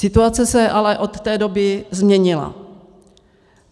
Situace se ale od té doby změnila.